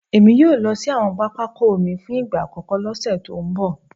Èmi yóò lọ sí àwọn pápákọ̀ omi fún ìgbà àkọ́kọ́ lọ́sẹ̀ tó ń bọ̀